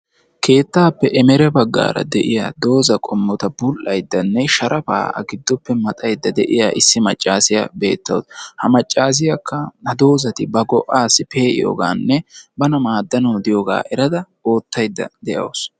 Keettappe ereme baggara de'iyaa doozata bul''ayddanne sharafata shodaydda de'iyaa issi maccassiya beetawus. ha maccassiyakka ha doozati ba go''assi pe'iyooganne ba maadanw de'iyooga erada oottaydda de'awus.